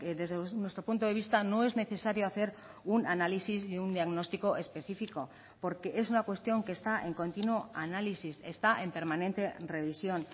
desde nuestro punto de vista no es necesario hacer un análisis y un diagnóstico específico porque es una cuestión que está en continuo análisis está en permanente revisión